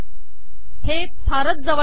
हे फारच जवळ आले आहे